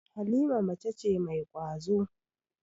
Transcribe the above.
Halima mace ce mai ƙwazo.